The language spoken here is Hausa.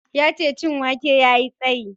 Yace cin wake yayi tsayi